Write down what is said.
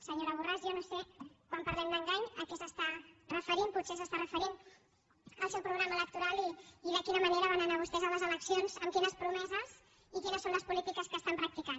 senyora borràs jo no sé quan parlem d’ engany a què s’està referint potser s’està referint al seu programa electoral i de quina manera van anar vostès a les eleccions amb quines promeses i quines són les polítiques que estan practicant